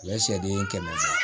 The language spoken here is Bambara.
U ye sɛden kɛmɛ